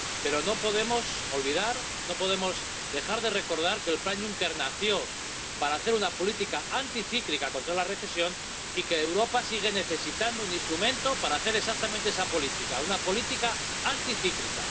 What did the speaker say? Pero no podemos olvidar, no podemos dejar de recordar que el Plan Juncker nació para hacer una política anticíclica contra la recesión, y que Europa sigue necesitando un instrumento para hacer exactamente esa política, una política anticíclica.